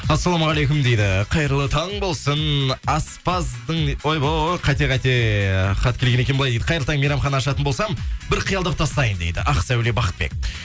ассалаумағалейкум дейді қайырлы таң болсын аспаздың ойбой қате қате хат келген екен былай дейді қайырлы таң мейрамхана ашатын болсам бір қиялдап тастайын дейді ақсәуле бақытбек